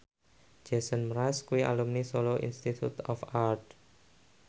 Jason Mraz kuwi alumni Solo Institute of Art